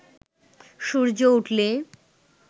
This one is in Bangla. সূর্য উঠলে